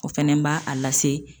O fɛnɛ b'a a lase.